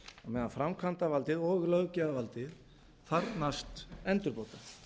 meðan framkvæmdavaldið og löggjafarvaldið þarfnast endurbóta